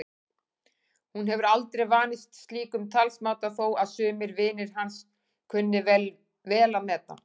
Hún hefur aldrei vanist slíkum talsmáta þó að sumir vinir hans kunni vel að meta.